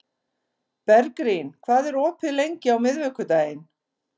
Bergrín, hvað er opið lengi á miðvikudaginn?